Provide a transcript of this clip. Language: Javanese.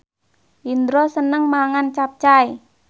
Indro seneng mangan capcay